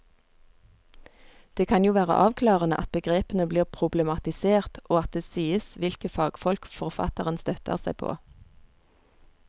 Det kan jo være avklarende at begrepene blir problematisert og at det sies hvilke fagfolk forfatteren støtter seg på.